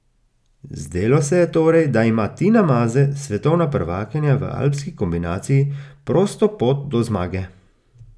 Zdelo se je torej, da ima Tina Maze, svetovna prvakinja v alpski kombinaciji, prosto pot do zmage.